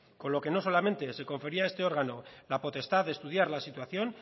con lo que no solamente se confería a este órgano la potestad de estudiar la situación